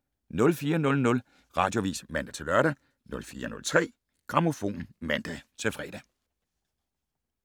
04:00: Radioavis (man-lør) 04:03: Grammofon (man-fre)